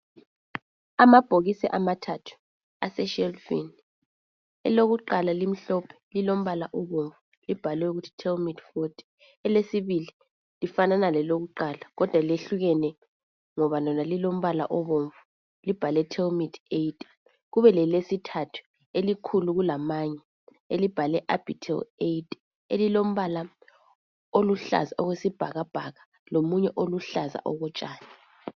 Amabhokisi amathathu aseshelufini elokuqala limhlophe lilombala obomvu libhaliwe ukuthi thelimethi foti. Elesibili lifana lelokuqala kodwa lehlukene ngoba lona lilombala obomvu libhalwe thelimethi eyite kube lelesithathu elikhulu kulamanye elibhalwe abhitheli eyite elilombala oluhlaza okwe sibhakabhaka lomunye oluhlaza okotshani.